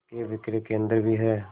के विक्रय केंद्र भी हैं